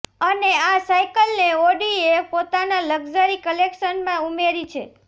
અને આ સાઈકલને ઔડીએ પોતાના લકઝરી કલેકશનમાં ઉમેરી છે